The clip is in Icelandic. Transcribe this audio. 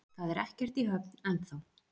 Það er ekkert í höfn ennþá